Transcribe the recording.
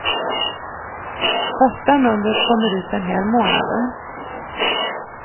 Första numret kommer ut den här månaden.